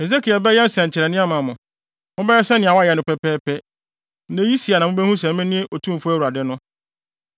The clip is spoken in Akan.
Hesekiel bɛyɛ nsɛnkyerɛnnede ama mo, mobɛyɛ sɛnea wayɛ no pɛpɛɛpɛ. Na eyi si a na mubehu sɛ mene Otumfo Awurade no.’